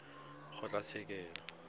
kgotlatshekelo